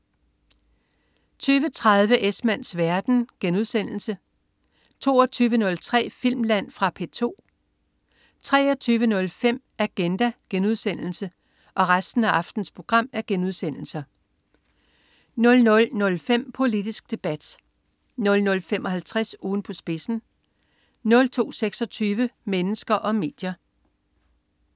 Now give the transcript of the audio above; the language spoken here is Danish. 20.30 Esmanns verden* 22.03 Filmland. Fra P2 23.05 Agenda* 00.05 Politisk Debat* 00.55 Ugen på spidsen* 02.26 Mennesker og medier*